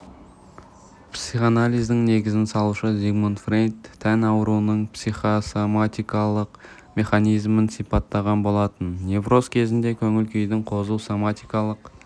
психоанализдің негізін салушы зигмунд фрейд тән ауруының психосоматикалық механизмін сипаттаған болатын невроз кезіндегі көңіл-күйдің қозуы соматикалық